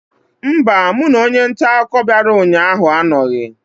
Mba, mụ na onye nta akụkọ bịara ụnyaahụ anọghị.